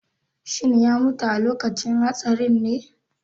Shin ya mutu a lokacin hatsarinne?